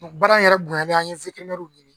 baara in yɛrɛ bonyɛnlen an ye ɲini